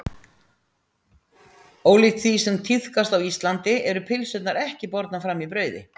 Ólíkt því sem tíðkast á Íslandi eru pylsurnar ekki bornar fram í brauði.